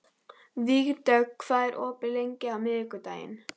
Vígdögg, hvað er opið lengi á miðvikudaginn?